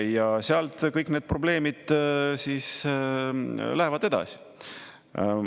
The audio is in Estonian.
Ja sealt kõik need probleemid lähevad edasi.